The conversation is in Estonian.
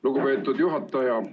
Lugupeetud juhataja!